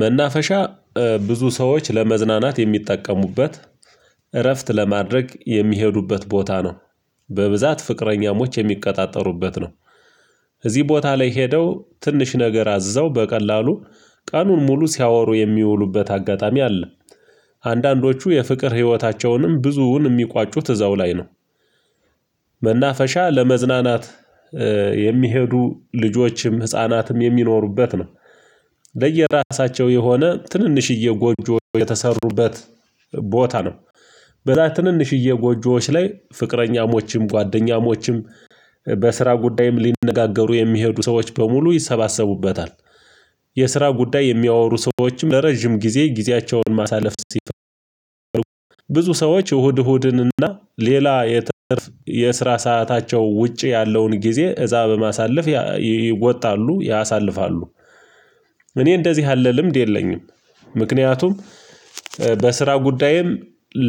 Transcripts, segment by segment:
መናፈሻ ብዙ ሰዎች ለመዝናናት የሚጠቀሙበት እረፍት ለማድረግ የሚሄዱበት ቦታ ነው። በብዛት ፍቅረኛሞች የሚቀጣጠሩበት ነው። እዚህ ቦታ ላይ ሄደው ትንሽ ነገር አዝዘው በቀላሉ ቀኑን ሙሉ ሲያወሩ የሚውሉበት አጋጣሚ አለ። አንዳንዶቹ የፍቅር ህይወታቸውንም ብዙውን የሚቋጩት ዕዛው ላይ ነው። መናፈሻ ለመዝናናት የሚሄዱ ልጆችም ህፃናትም የሚኖሩበት ነው። ለየራሳቸው የሆነ ትንንሽዬ ጎጆዎች የተሰሩበት ቦታ ነው። በዛ ትንንሽዬ ጎጆዎች ላይ ፍቅረኛሞችም ጓደኛሞችም በስራ ጉዳይም ሊነጋገሩ የሚሄዱ ሰዎች በሙሉ ይሰባሰቡበታል። የስራ ጉዳይ የሚያወሩ ሰዎችም ለረጅም ጊዜ ጊዜያቸውን ማሳለፍ ሲፈልጉ ብዙ ሰዎች እሁድ እሁድን እና ሌላ የትርፍ የስራ ሰአታቸው ውጪ ያለውን ጊዜ እዛ በማሳለፍ ይወጣሉ ያሳልፋሉ። እኔ እንደዚህ ያለ ልምድ የለኝም። ምክንያቱም በስራ ጉዳይም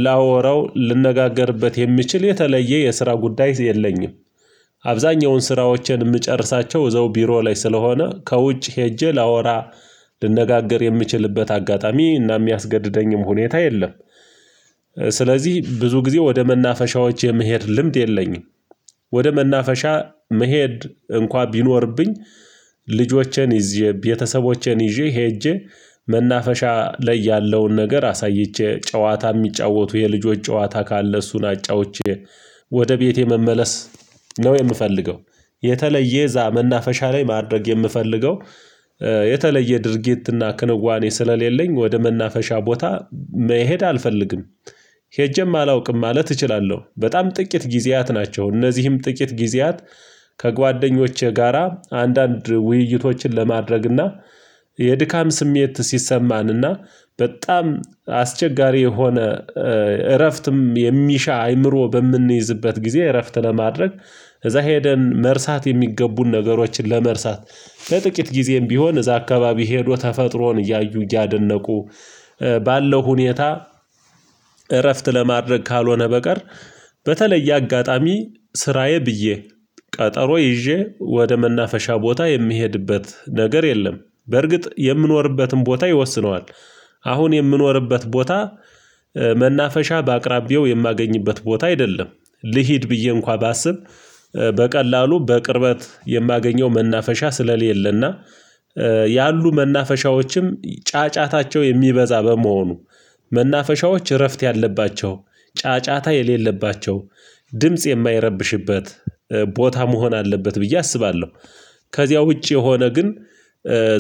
ላወራው ልንነጋገርበት የምችል የተለየ የስራ ጉዳይ የለኝም። አብዛኛውን ስራዎቼን የምጨርሳቸው እዛው ቢሮ ላይ ስለሆነ ከውጭ ሄጄ ላወራ ልነጋገር የምችልበት አጋጣሚ እና የሚያስገድደኝም ሁኔታ የለም። ስለዚህ ብዙ ጊዜ ወደ መናፈሻዎች የመሄድ ልምድ የለኝም። ወደ መናፈሻ መሄድ እንኳን ቢኖርብኝ ልጆቼን ይዤ ቤተሰቦቼን ይዤ ሄጄ መናፈሻ ላይ ያለውን ነገር አሳይቼ ጨዋታ የሚጫወቱ የልጆች ጨዋታ ካለ እሱን አጫውቼ ወደ ቤቴ መመለስ ነው የምፈልገው። የተለየ እዛ መናፈሻ ላይ ማድረግ የምፈልገው። የተለየ ድርጊትና ክንዋኔ ስለሌለኝ ወደ መናፈሻ ቦታ መሄድ አልፈልግም። ሄጄም አላውቅም ማለት እችላለሁ በጣም ጥቂት ጊዜያት ናቸው። እነዚህም ጥቂት ጊዜያት ከጓደኞቼ ጋራ አንዳንድ ውይይቶችን ለማድረግና የድካም ስሜት ሲሰማን እና በጣም አስቸጋሪ የሆነ እረፍትም የሚሻ አይምሮ በምንይዝበት ጊዜ እረፍት ለማድረግ እዛ ሄደን መርሳት የሚገቡን ነገሮችን ለመርሳት ለጥቂት ጊዜም ቢሆን እዛ አካባቢ ሄዶ ተፈጥሮን እያዩ እያደነቁ። ባለው ሁኔታ እረፍት ለማድረግ ካልሆነ በቀር። በተለየ አጋጣሚ ስራዬ ብዬ ቀጠሮ ይዤ ወደ መናፈሻ ቦታ የምሄድበት ነገር የለም። በርግጥ የምኖርበትን ቦታ ይወስነዋል። አሁን የምኖርበት ቦታ መናፈሻ በአቅራቢያው የማገኝበት ቦታ አይደለም። ልሂድ ብዬ እንኳ ባስብ በቀላሉ በቅርበት የማገኘው መናፈሻ ስለሌለና ያሉ መናፈሻዎችም ጫጫታቸው የሚበዛ በመሆኑ መናፈሻዎች እረፍት ያለባቸው ጫጫታ የሌለባቸው ድምጽ የማይረብሽበት ቦታ መሆን አለበት ብዬ አስባለሁ። ከዚያ ውጪ የሆነ ግን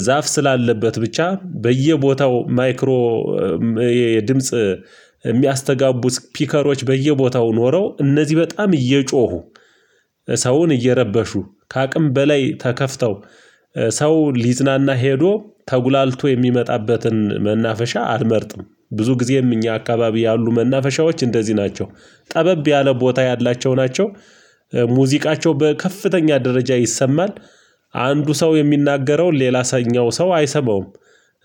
ዛፍ ስላለበት ብቻ በየቦታው ማይክሮ የድምጽ የሚያስተጋቡት ፒከሮች በየቦታው ኖረው እነዚህ በጣም እየጮሁ ሰውን እየረበሹ ከአቅም በላይ ተከፍተው ሰው ሊዝናና ሄዶ ተጉላልቶ የሚመጣበትን መናፈሻ አልመርጥም። ብዙ ጊዜም እኛ አካባቢ ያሉ መናፈሻዎች እንደዚህ ናቸው። ጠበብ ያለ ቦታ ያላቸው ናቸው። ሙዚቃቸው በከፍተኛ ደረጃ ይሰማል። አንዱ ሰው የሚናገረው ሌላ ሰኛው ሰው አይሰማውም።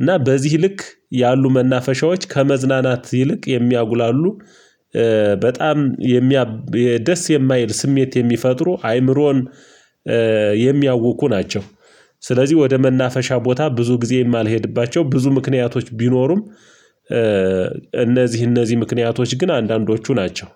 እና በዚህ ልክ ያሉ መናፈሻዎች ከመዝናናት ይልቅ የሚያጉላሉ። በጣም የሚያብ ደስ የማይል ስሜት የሚፈጥሩ አይምሮን የሚያውኩ ናቸው። ስለዚህ ወደ መናፈሻ ቦታ ብዙ ጊዜ የማልሄድባቸው ብዙ ምክንያቶች ቢኖሩም እነዚህ እነዚህ ምክንያቶች ግን አንዳንዶቹ ናቸው